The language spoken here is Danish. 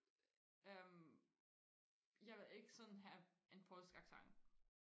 øhm jeg vil ikke sådan have en polsk accent